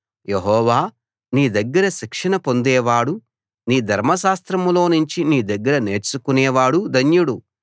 యెహోవా నీ దగ్గర శిక్షణ పొందేవాడు నీ ధర్మశాస్త్రంలో నుంచి నీ దగ్గర నేర్చుకునేవాడు ధన్యుడు